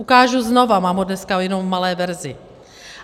Ukážu znovu, mám ho dneska jen v malé verzi.